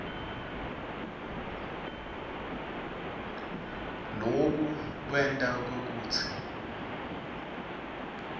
loku kwenta kwekutsi